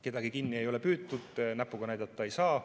Kedagi kinni ei ole püütud, näpuga näidata ei saa.